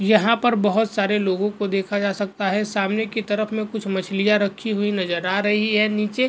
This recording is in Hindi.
यहां पर बहुत सारे लोगों को देखा जा सकता है सामने की तरफ में कुछ मछलियां रखी हुई नजर आ रही है नीचे --